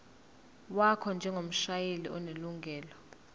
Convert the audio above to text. wakho njengomshayeli onelungelo